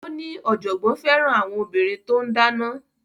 Ó ní ọ̀jọ̀gbọ́n fẹ́ràn àwọn obìnrin tó ń dáná